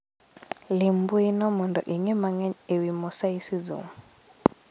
Lim mbui no mondo ing'e mang'eny e wi mosaicism